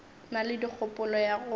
na le kgopolo ya go